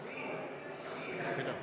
Kümme minutit soovisite?